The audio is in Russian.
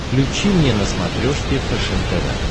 включи мне на смотрешке фэшен тв